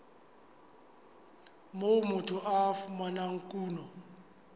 moo motho a fumanang kuno